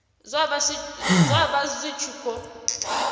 zwa vha zwi tshi khou